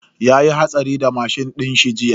Yayi hatsari da mashin dinshi jiya.